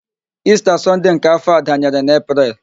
Ista Sọnde nke afọ a danyere na Epreel